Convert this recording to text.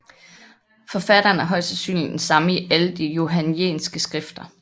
Forfatteren er højst sandsynligt den samme i alle de johannæiske skrifter